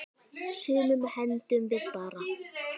Sumu hendum við bara.